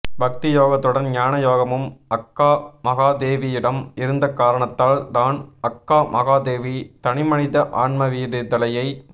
பக்தி யோகத்துடன் ஞானயோகமும் அக்காமகாதேவியிடம் இருந்தக் காரணத்தால் தான் அக்கா மகாதேவி தனிமனித ஆன்மவிடுதலையை